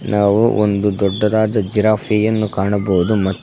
ನಾವು ಒಂದು ದೊಡ್ಡದಾದ ಗಿರಾಫ್ಫೆ ಯನ್ನು ಕಾಣಬಹುದು ಮ--